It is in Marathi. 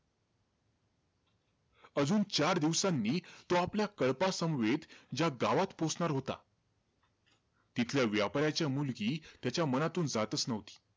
अजून चार दिवसांनी तो आपल्या कळपासमवेत ज्या गावात पोहोचणार होता, तिथल्या व्यापाराची मुलगी, त्याच्या मनातून जातंच नव्हती.